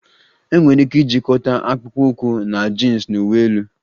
Enwere ike ijikọta akpụkpọ ụkwụ na jins na uwe elu